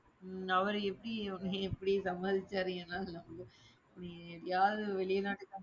அவரு எப்படி, உன்ன எப்படி சமாளிச்சாரு ஏனா அதுல வந்து நீ யாரு வெளிநாட்டுக்கு